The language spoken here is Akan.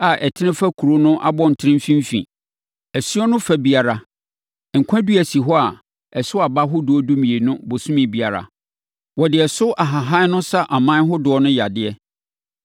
a ɛtene fa kuro no abɔntene mfimfini. Asuo no fa biara, nkwa dua si hɔ a ɛso aba ahodoɔ dumienu ɔbosome biara. Wɔde ɛso ahahan no sa aman ahodoɔ no yadeɛ.